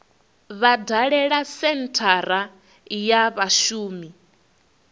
vha dalele senthara ya vhashumi